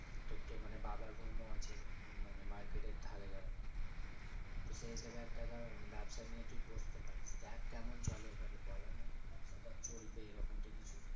তোর তো মানে বাবার room ও আছে মানে market এর ধারে ধর। তো সেই হিসেবে একটা ধর ব্যাবসা নিয়ে তুই বসতে পারিস। দেখ কেমন চলে এবার বলার নেই তো ব্যাবসাটা চলবে এরকম তো কিছু